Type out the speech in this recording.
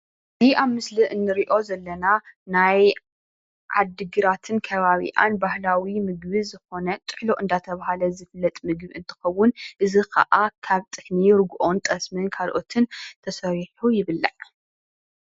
እዚ ኣብ ምስሊ እንሪኦ ዘለና ናይ ዓዲግራትን ከባቢኣን ባህላዊ ምግቢ ዝኾነ ጥሕሎ እንዳተባህለ ዝፍለጥ ምግቢ እንትኸውን እዚ ኻዓ ካብ ጥሕኒ ርግኦን ጠስምን ካልኦትን ተሰሪሑ ይብላዕ::